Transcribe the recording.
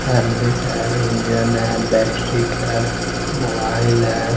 हेमलेट है इंजन है बट्रिक है मोबाइल है।